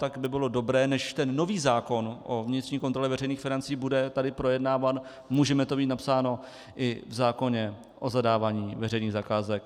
Tak by bylo dobré, než ten nový zákon o vnitřní kontrole veřejných financí bude tady projednáván, můžeme to mít napsáno i v zákoně o zadávání veřejných zakázek.